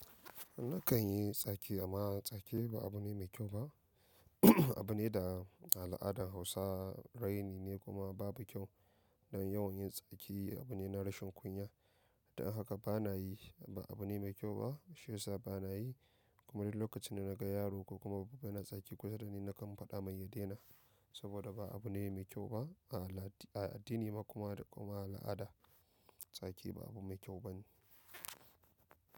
Nakan yi tsaki amma tsaki ba abu ne mai kyau ba. Abu ne da al'adar Hausa raini ne kuma babu kyau. Don yawan yin tsaki abu ne na rashin kunya. Don haka bana yi, ba abu ne mai kyau ba. Shiyasa bana yi kuma duk lokacin da naga yaro ko kuma babba yana tsaki kusa dani, nakan faɗa mai ya daina. Saboda ba abu ne mai kyau ba a addini da kuma al'ada. Tsaki ba abu mai kyau ba ne.